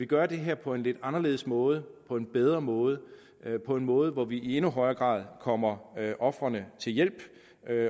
gøre det her på en lidt anderledes måde på en bedre måde på en måde hvor vi i endnu højere grad kommer ofrene til hjælp